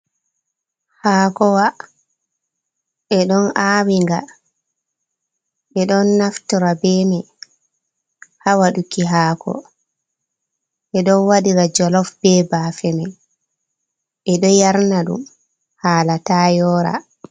Hakowa ɓeɗon awinga, ɓeɗon naftora beman hawaɗuki haako, ɓeɗo waɗira jolof be bafemai, ɓeɗo yarna ɗum hala ta yora.